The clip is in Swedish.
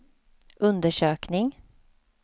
undersökning